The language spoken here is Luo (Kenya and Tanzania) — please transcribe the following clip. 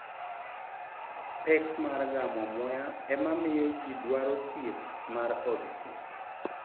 Pek mar gamo muya emamiyo ji dwaro thieth mar od thieth.